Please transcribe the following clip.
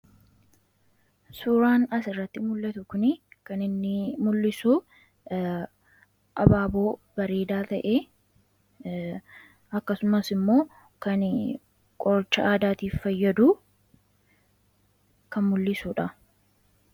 Suuraan asirratti mul'atu kun kan inni mul'isu abaaboo bareedaa ta'e akkasumas ammoo kan qoricha aadaatiif fayyadu kan mul'isudha.